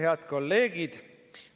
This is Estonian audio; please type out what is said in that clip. Head kolleegid!